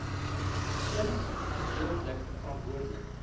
eens gedeeltelik verantwoordelik